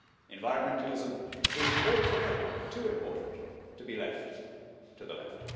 Environmentalism is altogether too important to be left to the left.